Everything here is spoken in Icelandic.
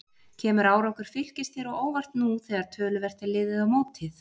Kemur árangur Fylkis þér á óvart nú þegar töluvert er liðið á mótið?